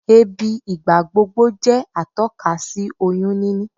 Èébì ìgbàgbogbo jẹ́ atọ́ka sí oyún níní